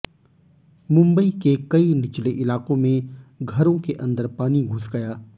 मुंबई के कई निचले इलाकों में घरों के अंदर पानी घुस गया